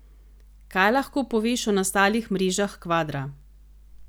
Kaj lahko poveš o nastalih mrežah kvadra?